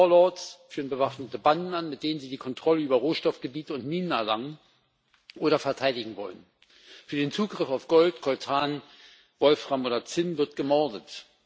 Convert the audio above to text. Warlords führen bewaffnete Banden an, mit denen sie die Kontrolle über Rohstoffgebiete und Minen erlangen oder verteidigen wollen. Für den Zugriff auf Gold, Coltan, Wolfram oder Zinn wird gemordet.